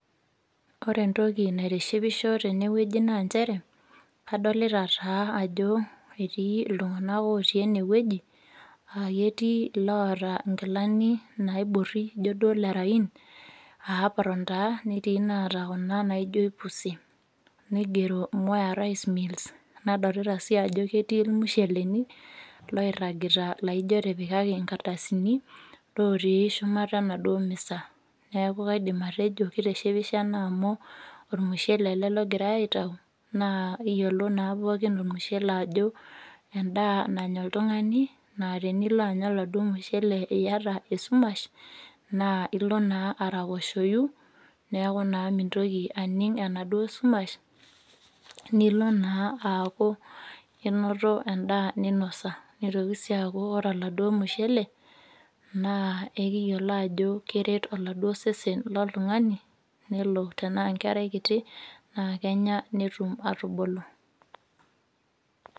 Ore entoki naitishipisho teno woji naa njere, adolita taa ajo etii iltunganak otii ene woji, aa ketii iloota inkilani naibori nijo duo lerayiin, aa apron taa netii inaata kuna naijo aipusi. Nigero sMwea Rice Miles nadolita sii ajo ketii olmusheleni loiragita laijo etipikaki ingardasini, lotii shumata enaduo miza. Neeku kaidim atejo keitishipisho ena amu olmushele ele logirai aitau aa kiyiolo naa pookin olmushele ajo endaa nanya oltungani naa tenilo anya oladuo mushele iyata esumash naa ilo naa araposhoyu neeku mintoki atum enaduo sumash nilo naa aaku inoto endaa ninosa. Nitoki sii aaku ore oladuo mushele, naa ekiyiolo ajo keret oladuo sesen loltungani nelo tenaa enkerai kiti, naa Kenya netum atubulu.